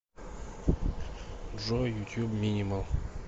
джой ютуб минимал